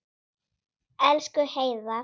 Elsku Heiðar.